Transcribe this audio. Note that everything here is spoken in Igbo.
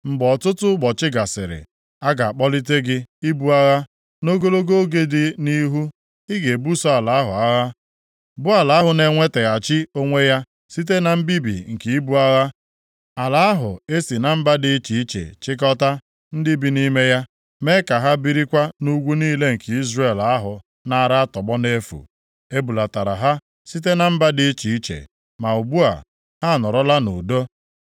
Mgbe ọtụtụ ụbọchị gasịrị, a ga-akpọlite gị ibu agha. Nʼogologo oge dị nʼihu, ị ga-ebuso ala ahụ agha bụ ala ahụ na-enwetaghachi onwe ya site na mbibi nke ibu agha; ala ahụ e si na mba dị iche iche chịkọtaa ndị bi nʼime ya, mee ka ha birikwa nʼugwu niile nke Izrel ahụ naara atọgbọ nʼefu. E bulatara ha site na mba dị iche iche, ma ugbu a, ha anọrọla nʼudo.